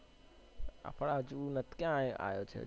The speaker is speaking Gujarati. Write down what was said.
એ પણ હજી એ ક્યાં આયો છે